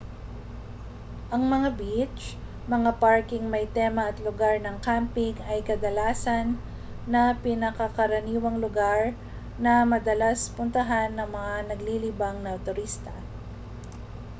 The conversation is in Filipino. ang mga beach mga parkeng may tema at lugar ng camping ay kadalasan na pinakakaraniwang lugar na madalas puntahan ng mga naglilibang na turista